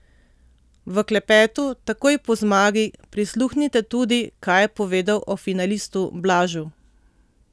V klepetu, takoj po zmagi, prisluhnite tudi, kaj je povedal o finalistu Blažu!